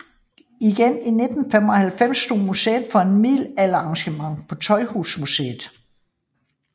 Igen i 1995 stod museet for et middelalderarrangement på Tøjhusmuseet